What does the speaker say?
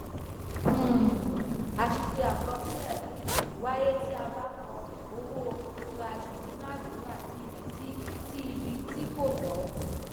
um àṣìṣe àkọsílẹ um wáyé tí a ba kọ owó/ìdúnáádúrà sí ibi tí sí ibi tí kò tó.